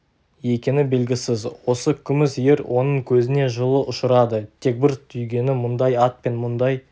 екені белгісіз осы күміс ер оның көзіне жылы ұшырады тек бір түйгені мұндай ат пен мұндай